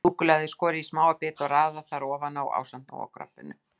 Súkkulaðið er skorið í smáa bita og raðað þar ofan á ásamt Nóa-kroppinu.